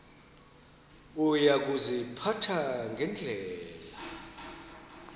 uya kuziphatha ngendlela